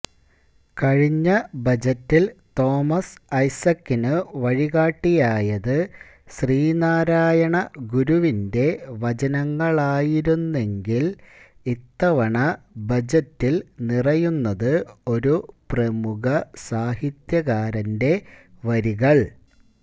കഴിഞ്ഞ ബജറ്റിൽ തോമസ് ഐസക്കിനു വഴികാട്ടിയായത് ശ്രീനാരായണ ഗുരുവിന്റെ വചനങ്ങളായിരുന്നെങ്കിൽ ഇത്തവണ ബജറ്റിൽ നിറയുന്നത് ഒരു പ്രമുഖ സാഹിത്യകാരന്റെ വരികൾ